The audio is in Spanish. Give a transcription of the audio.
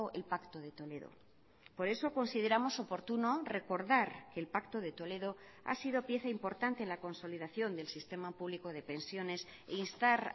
el pacto de toledo por eso consideramos oportuno recordar que el pacto de toledo ha sido pieza importante en la consolidación del sistema público de pensiones instar